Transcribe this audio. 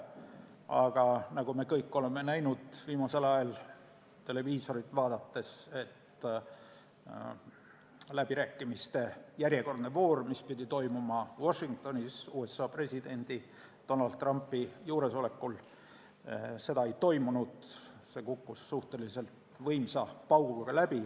Aga nagu me kõik oleme näinud viimasel ajal televiisorit vaadates, läbirääkimiste järjekordset vooru, mis pidi toimuma Washingtonis USA presidendi Donald Trumpi juuresolekul, ei toimunud, see kukkus võimsa pauguga läbi.